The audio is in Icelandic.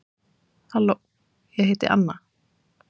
halló ég heiti anna